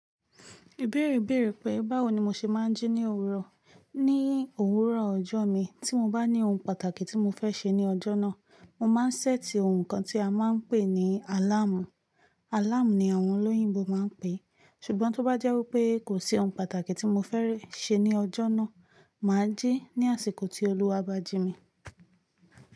Ibẹ̀ẹ́rẹ̀ bẹ̀ẹ́rẹ̀ pé báwo ni mo ṣe máa ń jí ní òwúrọ̀. Ní òwúrọ̀ ọjọ́ mi, tí mo bá ní ohun pàtàkì tí mo fẹ́ ṣe ní ọjọ́ náà, mo máa ń ṣẹ́ẹ̀tì ohun kan tí a máa ń pè ní àláàmù. Àláàmù ni àwọn olóyìnbo máa ń pè é. Ṣùgbọ́n tó bá jẹ́ wípé kò sí ohun pàtàkì tí mo fẹ́rẹ́ ṣe ní ọjọ́ náà, mà á jí ní àsìkò tí Olúwa bá jí mi.